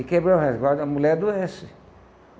E quebrar o resguardo, a mulher adoece.